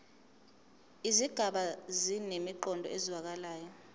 izigaba zinemiqondo ezwakalayo